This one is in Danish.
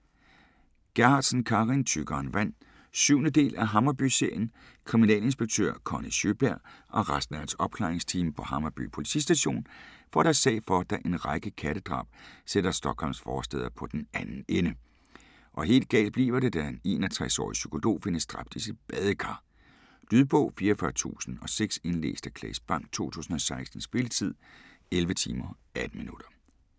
Gerhardsen, Carin: Tykkere end vand 7. del af Hammarby-serien. Kriminalinspektør Conny Sjøberg og resten af hans opklaringsteam på Hammarby politistation får deres sag for, da en række kattedrab sætter Stockholms forstæder på den anden ende, og helt galt bliver det da en 61-årig psykolog findes dræbt i sit badekar. Lydbog 44006 Indlæst af Claes Bang, 2016. Spilletid: 11 timer, 18 minutter.